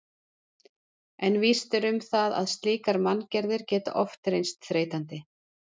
En víst er um það að slíkar manngerðir geta oft reynst þreytandi.